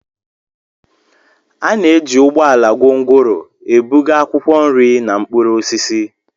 A na-eji ụgbọ ala gongoro ebuga akwụkwọ nri na mkpụrụ osisi.